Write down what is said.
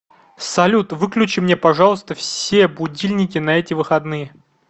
салют выключи мне пожалуйста все будильники на эти выходные